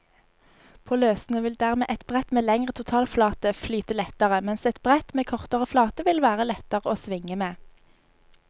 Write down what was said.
På løssnø vil dermed et brett med lengre totalflate flyte lettere, mens et brett med kortere flate vil være lettere å svinge med.